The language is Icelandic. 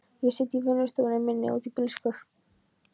Ég sit í vinnustofunni minni úti í bílskúr.